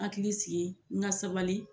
Hakili sigi n ka sabali